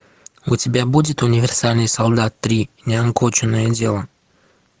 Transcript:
у тебя будет универсальный солдат три неоконченное дело